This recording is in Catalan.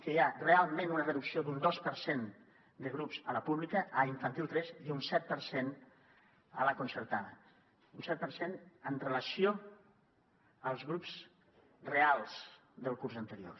que hi ha realment una reducció d’un dos per cent de grups a la pública a infantil tres i un set per cent a la concertada un set per cent amb relació als grups reals del curs anterior